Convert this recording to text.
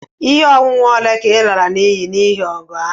Ihe onwunwe ole ka e lara n'iyi n'ihi ọgụ ahụ?